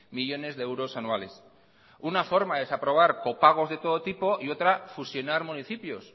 millónes de euros anuales una forma de desaprobar copagos de todo tipo y otra fusionar municipios